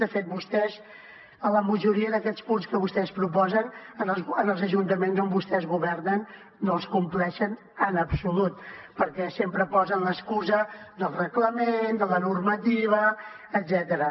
de fet vostès a la majoria d’aquests punts que vostès proposen en els ajuntaments on vostès governen no els compleixen en absolut perquè sempre posen l’excusa del reglament de la normativa etcètera